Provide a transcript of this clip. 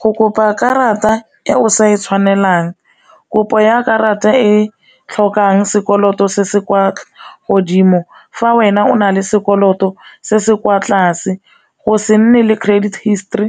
Go kopa karata e o sa e tshwanelang kopo ya karata e tlhokang sekoloto se se kwa godimo fa wena o na le sekoloto se se se kwa tlase, go se nne le credit history,